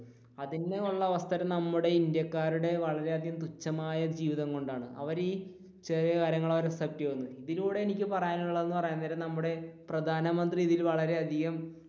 അതിനു ഉള്ള അവസരം നമ്മുടെ ഇന്ത്യക്കാരുടെ വളരെയധികം തുച്ഛമായൊരു ജീവിതം കൊണ്ടാണ് അവര് ഈ ഇതിലൂടെ എനിക്ക് പറയാനുള്ളത് എന്ന് പറയാൻ നേരം നമ്മുടെ പ്രധാനമന്ത്രി ഇതിൽ വളരെയധികം,